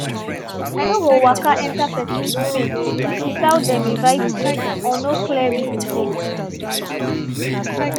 i no go waka enter person space without dem invite me or no clear reason dey.